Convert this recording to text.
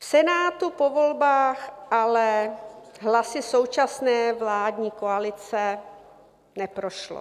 V Senátu po volbách ale hlasy současné vládní koalice neprošlo.